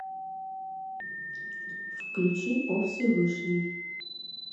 включи о всевышний